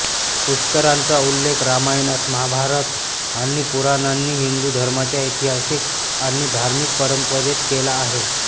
पुष्करांचा उल्लेख रामायणात महाभारत आणि पुराणांनी हिंदू धर्माच्या ऐतिहासिक आणि धार्मिक परंपरेत केला आहे